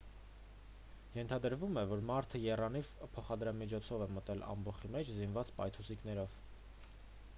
ենթադրվում է որ մարդը եռանիվ փոխադրամիջոցով է մտել ամբոխի մեջ զինված պայթուցիկներով